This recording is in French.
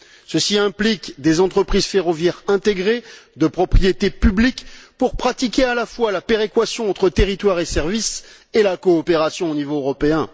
Ceci implique des entreprises ferroviaires intégrées, de propriété publique, pour pratiquer à la fois la péréquation entre territoires et services et la coopération au niveau européen.